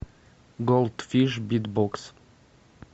голдфиш битбокс